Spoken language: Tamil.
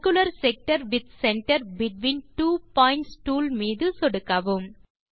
circular sector with centre between two points tool மீது சொடுக்கவும்